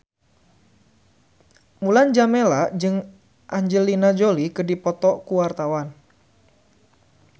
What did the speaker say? Mulan Jameela jeung Angelina Jolie keur dipoto ku wartawan